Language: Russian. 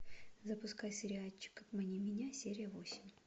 запускай сериальчик обмани меня серия восемь